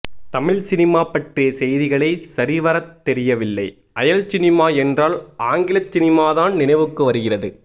Tamil cinema பற்றிய செய்திகளே சரிவரத் தெரியவில்லை அயல்சினிமா என்றால் ஆங்கிலசினிமாதான் நினைவுக்கு வருகிறது